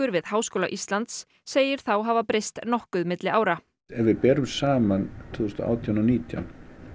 við Háskóla Íslands segir þá hafa breyst nokkuð milli ára ef við berum saman tvö þúsund og átján og nítján